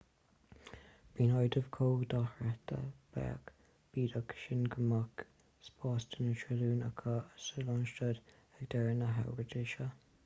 bíonn adaimh chomh dochreidte beag bídeach sin go mbeadh spás do na trilliúin acu sa lánstad ag deireadh na habairte seo